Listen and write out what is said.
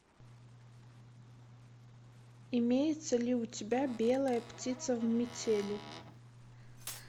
имеется ли у тебя белая птица в метели